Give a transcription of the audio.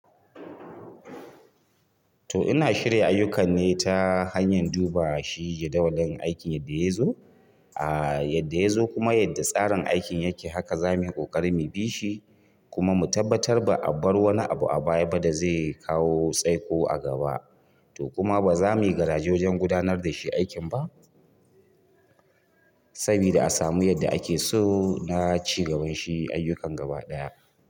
To ina shirya ayukan ne ta hanyar duba shi jadawalin aikin yadda ya yazo, a yadda ya yazo kuma yadda tsarin aikin yake haka za mu yi ƙoƙari mu bi shi kuma mu tabbatar ba a bar wani abu a baya ba da zai kawo tsaiko a gaba. To kuma ba za mu yi garajejen gudanar da shi aikin ba sabida a samu yadda ake so na ci gaban shi ayyukan gaba ɗaya.